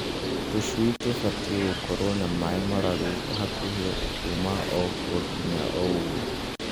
Tũcui tũbatiĩ gũkorwo na maaĩ mararu hakuhĩ kuma o twakinya ũguo.